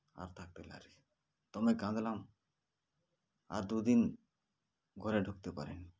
আর থাকতে লারি তমে কাঁদলাম আর দুদিন ঘরে ঢুকতে পারিনি